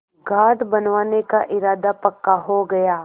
घाट बनवाने का इरादा पक्का हो गया